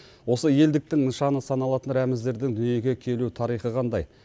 осы елдіктің нышаны саналатын рәміздердің дүниеге келу тарихы қандай